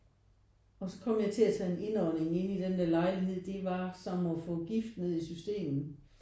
Og så kom jeg til at tage en indånding inde i den der lejlighed. Det var som at få gift ned i systemet